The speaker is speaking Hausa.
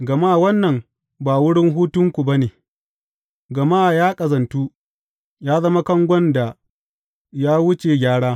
Gama wannan ba wurin hutunku ba ne, gama ya ƙazantu, ya zama kangon da ya wuce gyara.